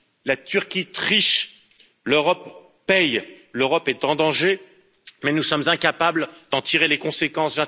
La Turquie triche, l'Europe paie, l'Europe est en danger, mais nous sommes incapables d'en tirer les conséquences.